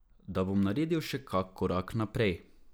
Da bom naredil še kak korak naprej.